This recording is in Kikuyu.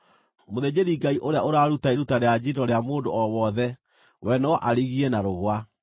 Mũthĩnjĩri-Ngai ũrĩa ũraruta iruta rĩa njino rĩa mũndũ o wothe we no arigie na rũũa.